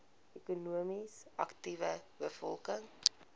ekonomies aktiewe bevolking